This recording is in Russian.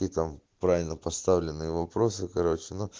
и там правильно поставленные вопросы короче но